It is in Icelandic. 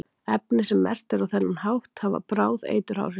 efni sem merkt eru á þennan hátt hafa bráð eituráhrif